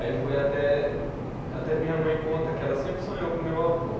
Aí foi até, até. Minha mãe conta que ela sempre sonhou com o meu avô.